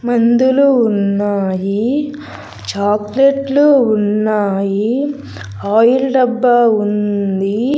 మందులు ఉన్నాయి చాక్లెట్లు ఉన్నాయి ఆయిల్ డబ్బా ఉంది.